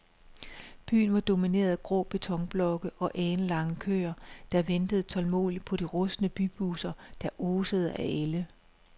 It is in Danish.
Byen var domineret af grå betonblokke og alenlange køer, der ventede tålmodigt på de rustne bybusser, der osede af ælde.